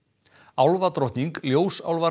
álfadrotting ljósálfar